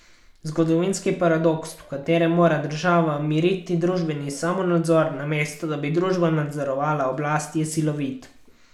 Zgodovinski paradoks, v katerem mora država miriti družbeni samonadzor, namesto da bi družba nadzorovala oblast, je silovit.